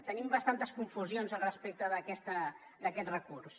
tenim bastantes confusions al respecte d’aquest recurs